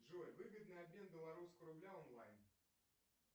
джой выгодный обмен белорусского рубля онлайн